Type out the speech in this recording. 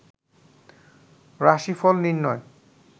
রাশিফল নির্ণয়